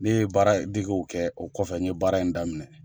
Ne ye baara degew kɛ, o kɔfɛ n ye baara in daminɛ.